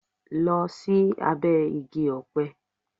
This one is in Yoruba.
Lọ sí abẹ́ Igi-ọpẹ.